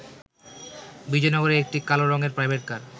বিজয়নগরে একটি কালো রঙের প্রাইভেট কার